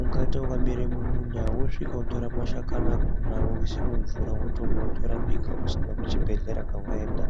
ungaita wakamere mumunda wosvika wotora mashakani akona woise mumvura wotomwa wotorapika usina kuchibhehlera kwawaenda